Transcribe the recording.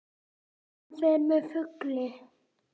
Hann fer með flugi.